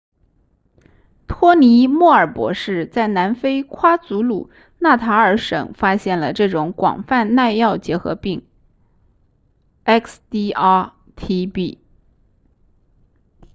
托尼莫尔博士在南非夸祖鲁纳塔尔省发现了这种广泛耐药结核病 xdr-tb